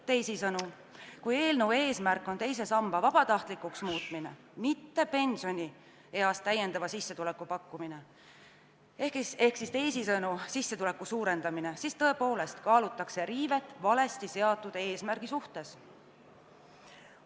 Teisisõnu, kui eelnõu eesmärk on teise samba vabatahtlikuks muutmine, mitte pensionieas lisasissetuleku pakkumine ehk sissetuleku suurendamine, siis tõepoolest kaalutakse riivet valesti seatud eesmärgi suhtes.